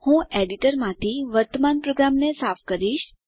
હું એડીટરમાંથી વર્તમાન પ્રોગ્રામને સાફ કરીશ